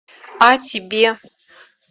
а тебе